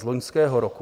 Z loňského roku.